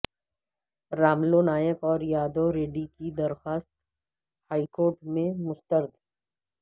راملو نائک اور یادو ریڈی کی درخواست ہائیکورٹ میں مسترد